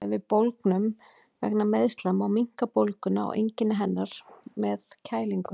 Þegar við bólgnum vegna meiðsla má minnka bólguna og einkenni hennar með að kælingu.